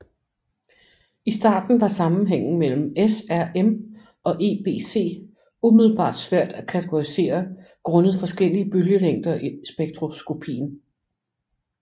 I starten var sammenhængen mellem SRM og EBC umiddelbart svær at kategorisere grundet forskellige bølgelængder i spektroskopien